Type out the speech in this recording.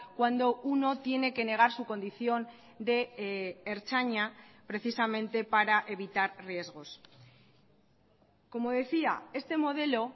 cuando uno tiene que negar su condición de ertzaina precisamente para evitar riesgos como decía este modelo